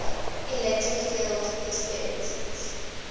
electric field experiences